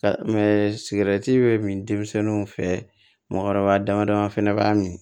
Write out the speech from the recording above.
Ka bɛ min denmisɛnninw fɛ mɔgɔkɔrɔba damadama fana b'a min